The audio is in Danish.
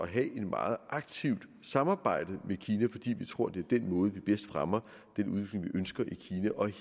have et meget aktivt samarbejde med kina fordi vi tror at det er den måde vi bedst fremmer den udvikling vi ønsker